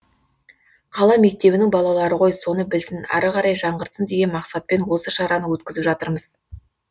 қала мектебінің балалары ғой соны білсін әрі қарай жаңғыртсын деген мақсатпен осы шараны өткізіп жатырмыз